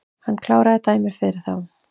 Hann kláraði dæmið fyrir þá